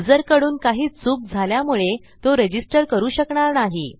युजरकडून काही चूक झाल्यामुळे तो रजिस्टर करू शकणार नाही